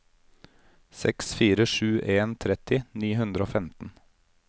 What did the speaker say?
seks fire sju en tretti ni hundre og femten